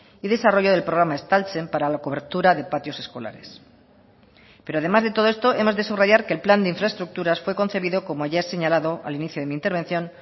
y desarrollo del programa estaltzen para la cobertura de patios escolares pero además de todo esto hemos de subrayar que el plan de infraestructuras fue concebido como ya he señalado al inicio de mi intervención